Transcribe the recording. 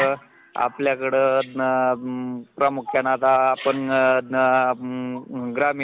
एक हे करतो काम करतो त्या ठिकाणी